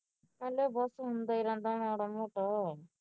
ਕਹਿੰਦੇ ਬਹੁਤ ਸੁਣਦਾ ਈ ਰਹਿੰਦਾ ਮਾੜਾ ਮੋਟਾ